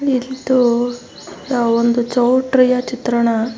ತು ಒಂದು ಚೌಟರಿ ಯಾ ಚಿತ್ರಣ .